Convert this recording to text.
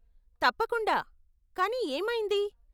తప్పకుండా, కానీ ఏమైంది?